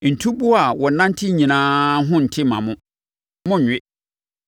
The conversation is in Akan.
Ntuboa a wɔnante nyinaa ho nnte mma mo; monnwe.